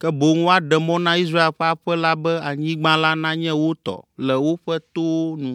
ke boŋ woaɖe mɔ na Israel ƒe aƒe la be anyigba la nanye wo tɔ le woƒe towo nu.